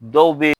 Dɔw bɛ yen